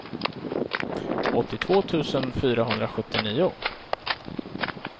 åttiotvå tusen fyrahundrasjuttionio